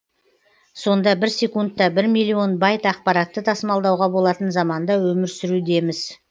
сонда бір секундтта бір миллион байт ақпаратты тасымалдауға болатын заманда өмір сүрудеміз